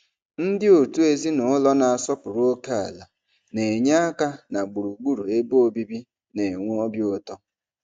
Ndị òtù ezinụlọ na-asọpụrụ ókèala na-enye aka na gburugburu ebe obibi na-enwe obi ụtọ.